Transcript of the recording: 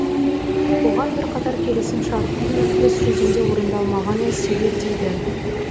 оған бірқатар келісімшарттың іс жүзінде орындалмағаны себеп дейді